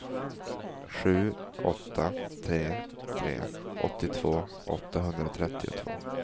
sju åtta tre tre åttiotvå åttahundratrettiotvå